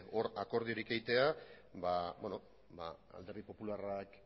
hor akordiorik egitea alderdi popularrak